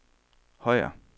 Højer